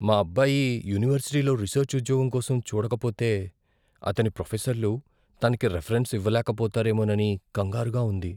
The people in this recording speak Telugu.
మా అబ్బాయి యూనివర్సిటీలో రీసర్చ్ ఉద్యోగం కోసం చూడకపోతే, అతని ప్రొఫెసర్లు తనికి రిఫరెన్స్ ఇవ్వలేకపోతారేమోనని కంగారుగా ఉంది.